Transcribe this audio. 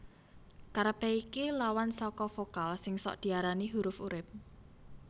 Karepé iki lawan saka vokal sing sok diarani huruf urip